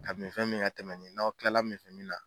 Ka minfɛn min ka tɛmɛ n'aw kilala minfɛn min na